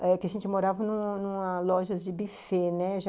É que a gente morava numa numa loja de buffet, né?